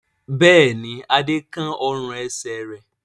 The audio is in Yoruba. Bẹ́ẹ̀ ni, Adé kán ọrùn-ẹsẹ̀ rẹ̀.